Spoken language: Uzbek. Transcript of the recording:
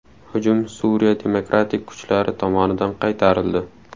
Hujum Suriya demokratik kuchlari tomonidan qaytarildi.